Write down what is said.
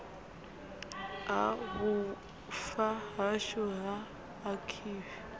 ha vhufa hashu ha akhaivi